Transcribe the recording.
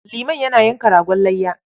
Liman yana yanka ragon layya.